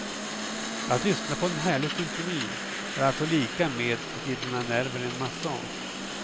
Att lyssna på en härlig symfoni är alltså lika med att ge dina nerver en massage.